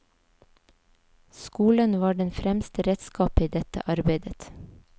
Skolen var det fremste redskapet i dette arbeidet.